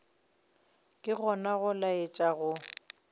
ke gona go laetša go